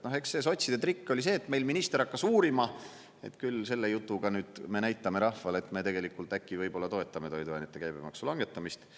Noh, eks see sotside trikk oli see, et meil minister hakkas uurima, et küll selle jutuga nüüd me näitame rahvale, et me tegelikult äkki võib-olla toetame toiduainete käibemaksu langetamist.